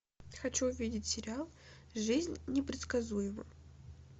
хочу увидеть сериал жизнь непредсказуема